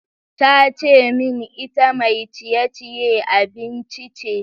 Ta ce min ita mai ciye-ciye abinci ce.